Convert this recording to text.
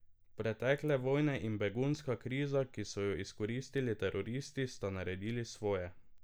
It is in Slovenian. Pretekle vojne in begunska kriza, ki so jo izkoristili teroristi, sta naredili svoje.